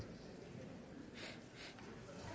jeg